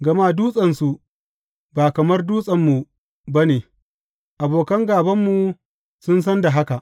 Gama dutsensu ba kamar Dutsenmu ba ne, abokan gābanmu sun san da haka.